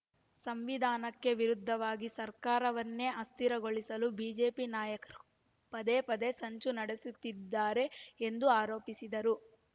ಸಂವಿಧಾನಕ್ಕೆ ವಿರುದ್ಧವಾಗಿ ಸರ್ಕಾರವನ್ನೇ ಅಸ್ಥಿರಗೊಳಿಸಲು ಬಿಜೆಪಿ ನಾಯಕರು ಪದೇಪದೆ ಸಂಚು ನಡೆಸುತ್ತಿದ್ದಾರೆ ಎಂದು ಆರೋಪಿಸಿದರು